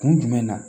Kun jumɛn na